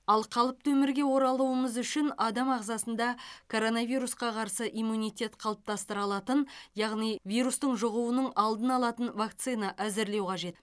ал қалыпты өмірге оралуымыз үшін адам ағзасында коронавирусқа қарсы иммунитет қалыптастыра алатын яғни вирустық жұғуының алдын алатын вакцина әзірлеу қажет